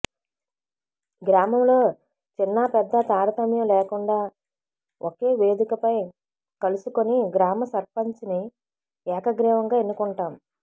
గ్రామంలో చిన్నా పెద్దా తారతమ్యం లేకుండా ఒకే వేదికపై కలుసుకుని గ్రామ సర్పంచ్ని ఏకగ్రీవంగా ఎన్నుకుంటాం